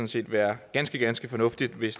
set være ganske ganske fornuftigt hvis